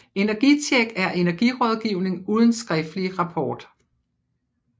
EnergiTjek er energirådgivning uden skriftlig rapport